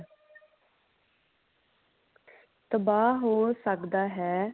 ਤਬਾਹ ਹੋ ਸਕਦਾ ਹੈ